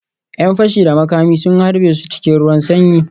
‘Yan fashi da makami sun harbe su cikin ruwan sanyi